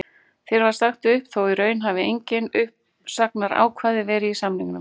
Þér var sagt upp þó í raun hafi engin uppsagnarákvæði verið í samningnum?